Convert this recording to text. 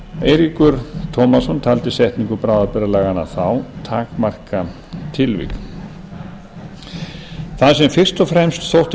eiríkur tómasson taldi setningu bráðabirgðalaganna þá takmarkatilvik það sem fyrst og fremst þótti